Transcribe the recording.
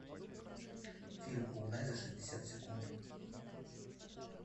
фильм угнать за шестьдесят секунд